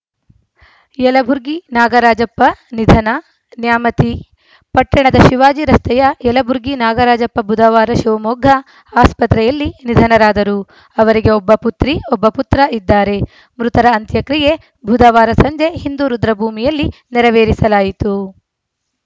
ಯಲಬುರ್ಗಿ ನಾಗರಾಜಪ್ಪ ನಿಧನ ನ್ಯಾಮತಿ ಪಟ್ಟಣದ ಶಿವಾಜಿ ರಸ್ತೆಯ ಯಲಬುರ್ಗಿ ನಾಗರಾಜಪ್ಪ ಬುಧವಾರ ಶಿವಮೊಗ್ಗ ಆಸ್ಪತ್ರೆಯಲ್ಲಿ ನಿಧನರಾದರು ಅವರಿಗೆ ಒಬ್ಬ ಪುತ್ರಿ ಒಬ್ಬ ಪುತ್ರ ಇದ್ದಾರೆ ಮೃತರ ಅಂತ್ಯ ಕ್ರಿಯೆ ಬುಧವಾರ ಸಂಜೆ ಹಿಂದೂ ರುದ್ರಭೂಮಿಯಲ್ಲಿ ನೆರವೇರಿಸಲಾಯಿತು